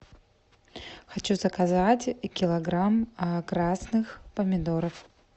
хочу заказать килограмм красных помидоров